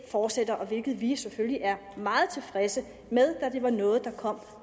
fortsætter hvilket vi selvfølgelig er meget tilfredse med da det var noget der kom